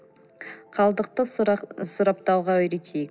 қалдықты сұрыптауға үйретейік